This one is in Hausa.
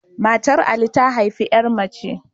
Matar Ali ta haifi ƴa mace